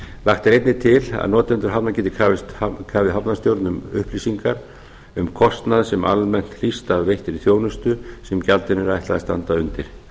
lagt er einnig til að notendur hafna geti krafið hafnarstjórn um upplýsingar um kostnað sem almennt hlýst af veittri þjónustu sem gjaldinu er ætlað að standa undir